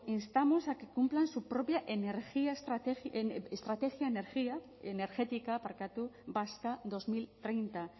instamos a que cumplan su propia estrategia energética vasca dos mil treinta